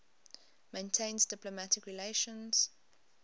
maintains diplomatic relations